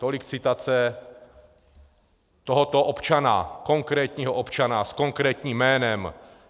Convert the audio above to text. Tolik citace tohoto občana, konkrétního občana s konkrétním jménem.